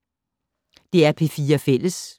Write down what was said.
DR P4 Fælles